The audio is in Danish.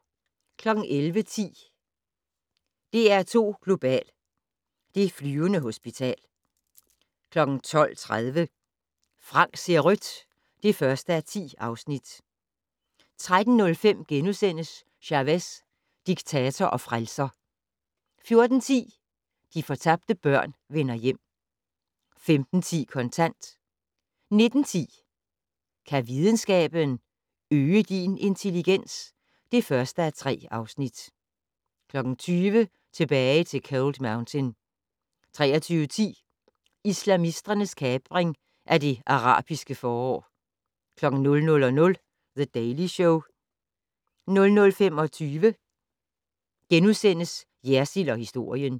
11:10: DR2 Global: Det flyvende hospital 12:30: Frank ser rødt (1:10) 13:05: Chavez - diktator og frelser * 14:10: De fortabte børn vender hjem 15:10: Kontant 19:10: Kan videnskaben - øge din intelligens? (1:3) 20:00: Tilbage til Cold Mountain 23:10: Islamisternes kapring af det arabiske forår 00:00: The Daily Show 00:25: Jersild & historien *